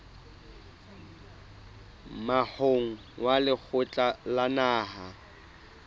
moahong wa lekgotla la naha